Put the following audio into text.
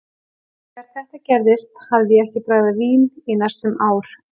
Þegar þetta gerðist hafði ég ekki bragðað vín í næstum ár.